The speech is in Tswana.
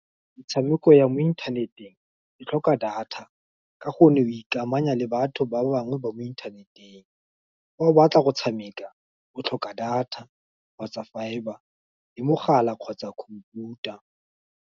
Metshameko ya mo inthaneteng e tlhoka data, ka go nne go ikamanya le batho ba bangwe ba mo inthaneteng, fa o batla go tshameka o tlhoka data, kgotsa fibre, le mogala kgotsa computer.